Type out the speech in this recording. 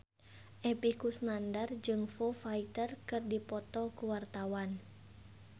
Epy Kusnandar jeung Foo Fighter keur dipoto ku wartawan